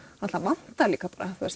það vantar líka